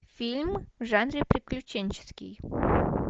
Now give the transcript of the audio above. фильм в жанре приключенческий